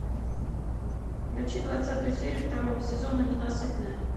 включи двадцатую серию второго сезона ненасытная